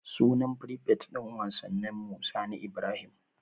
Sunan frifet din wasanninmu Sani Ibrahim.